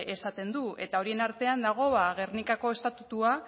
esaten du eta horien artean dago ba gernikako estatutua